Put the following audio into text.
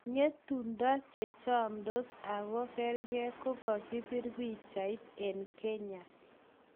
Ngetundo"Chechamtos oko kergen,"kokakipir pichat eng kenya